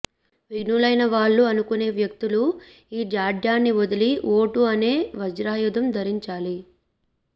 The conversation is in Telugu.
విజ్ఞులైనవాళ్లు అనుకునే వ్యక్తులు ఈ జాడ్యాన్ని వదలి ఓటు అనే వజ్రాయుధం ధరించాలి